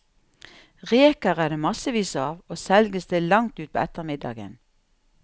Reker er det massevis av, og selges til langt utpå ettermiddagen.